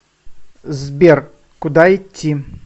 сбер куда идти